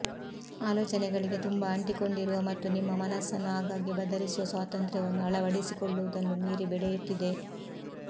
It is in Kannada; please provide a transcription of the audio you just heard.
ಆಲೋಚನೆಗಳಿಗೆ ತುಂಬಾ ಅಂಟಿಕೊಂಡಿರುವ ಮತ್ತು ನಿಮ್ಮ ಮನಸ್ಸನ್ನು ಆಗಾಗ್ಗೆ ಬದಲಿಸುವ ಸ್ವಾತಂತ್ರ್ಯವನ್ನು ಅಳವಡಿಸಿಕೊಳ್ಳುವುದನ್ನು ಮೀರಿ ಬೆಳೆಯುತ್ತಿದೆ